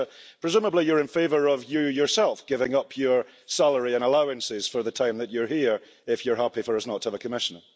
But, presumably you're in favour of you yourself giving up your salary and allowances for the time that you're here if you're happy for us not to have a Commissioner?